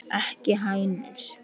Ekki hænur?